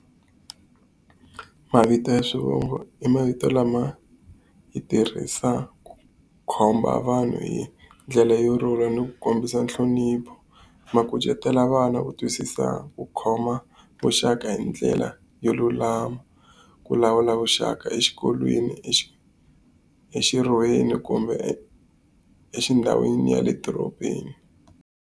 Mavito ya swivongo i mavito lama hi tirhisaka ku komba vanhu hi ndlela yo rhula ni ku kombisa nhlonipho. Ma kucetela vana ku twisisa xa ku khoma vuxaka hi ndlela yo lulama, ku lawula vuxaka exikolweni, kumbe ndhawini ya le dorobeni.